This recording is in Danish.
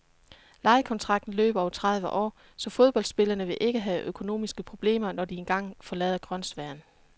Lejekontrakten løber over tredive år, så fodboldspillerne vil ikke have økonomiske problemer, når de engang forlader grønsværen.